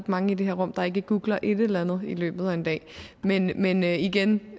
mange i det her rum der ikke googler et eller andet i løbet af en dag men men igen